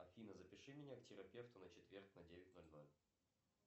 афина запиши меня к терапевту на четверг на девять ноль ноль